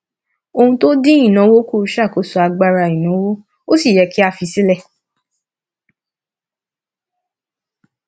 ohun tó dín ìnáwó kù ṣàkóso agbára ìnáwó ó sì yẹ kí a fi sílẹ